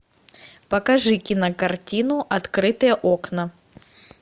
покажи кинокартину открытые окна